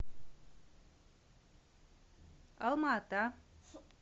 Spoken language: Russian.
алма ата